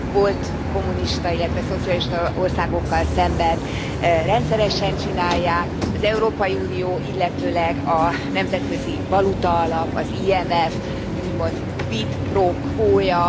Volt kommunista, illetve szocialista országokkal szemben rendszeresen csinálják. Az Európai Unió, illetőleg a Nemzetközi Valutaalap, az IMF, úgymond quid pro quoja.